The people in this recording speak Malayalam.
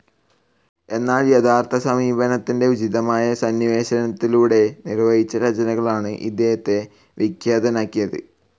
എന്നാൽ യഥാർത്ഥ സമീപനത്തിൻ്റെ ഉചിതമായ സന്നിവേശത്തിലൂടെ നിർവഹിച്ച രചനകളാണ് ഇദ്ദേഹത്തെ വിഖ്യാതനാക്കിയത്.